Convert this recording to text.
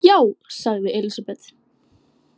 Já, sagði Elísabet.